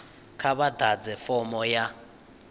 kha vha ḓadze fomo ya